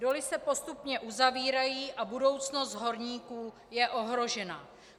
Doly se postupně uzavírají a budoucnost horníků je ohrožena.